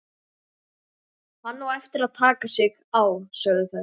Hann á eftir að taka sig á, sögðu þær.